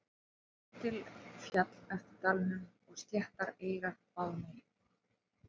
Á lítil féll eftir dalnum og sléttar eyrar báðum megin.